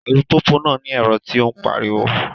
Alupupu náà ni ẹrọ ti o npariwo